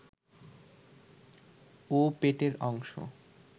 ও পেটের অংশ